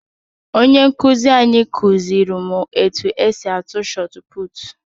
Onye nkụzi anyị kụziri m etu esi atụ shọtputu